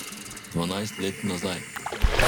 Dvanajst let nazaj.